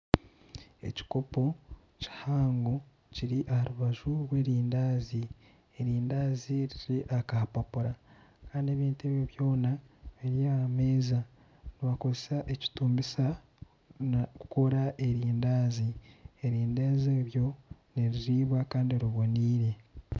Ekikopo kihango kiri aha rubaju rw'erindaazi erindaazi riri aha kapapura kandi ebintu ebyo byona biri aha meeza, nibakozesa ekitumbisa kukora erindaazi erindaazi eryo niriribwa kandi riboneire.